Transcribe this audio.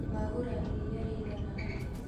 Wagũra iria rĩigan atĩa